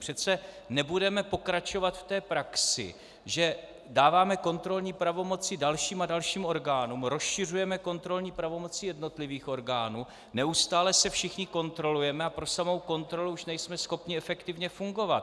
Přece nebudeme pokračovat v té praxi, že dáváme kontrolní pravomoci dalším a dalším orgánům, rozšiřujeme kontrolní pravomoci jednotlivých orgánů, neustále se všichni kontrolujeme a pro samou kontrolu už nejme schopni efektivně fungovat.